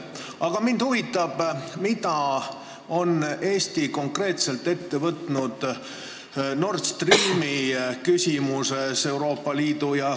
Aga mind huvitab, mida on Eesti Euroopa Liidus ja komisjonis konkreetselt ette võtnud Nord Streami küsimuses.